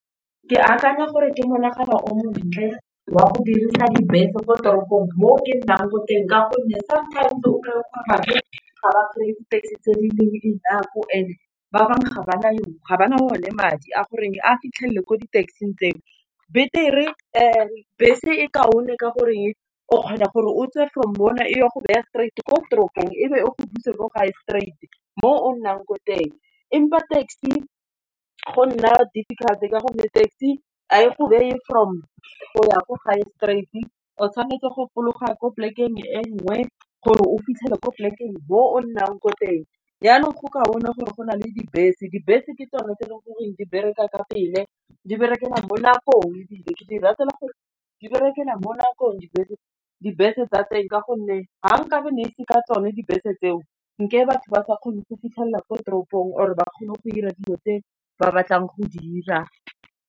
Ke akanya gore ke monagano o montle, wa go dirisa dibese mo toropong mo ke nnang ko teng ka gonne sometimes o kry-e gore batho ga ba kry-e di-taxi tse di leng enough e ne ba bangwe ga ba na le o ne madi, a goreng a fitlhelele ko di-taxi-ng tse dingwe, batere bese e ka one, ka goreng o kgona gore o tse from yona e o go beya straight ko toropong ebe e go buse ko gae straight mo o nnang ko teng, empa taxi go nna difficult-e ka gonne taxi, ha e go beye from go ya go gae straight o tshwanetse go fologa ko polekeng e nngwe gore o fitlhele ko polekeng mo o nnang ko teng, yanong go ka one gore go na le dibese, dibese ke tsone tse e leng goreng di bereka ka pele di bereke mo nakong ebile ke di ratela gore di berekela mo nakong dibese, dibese tsa teng ka gonne ga nkabe na ise ka tsone dibese tseo nka e batho ba sa kgone go fitlhelela ko toropong or ba kgone go ira dilo tse ba batlang go di ira.